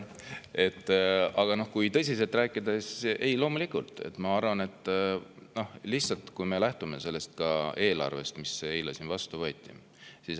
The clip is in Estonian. Aga kui tõsiselt rääkida, siis ma arvan, et loomulikult – lähtudes ka sellest eelarvest, mis siin eile vastu võeti.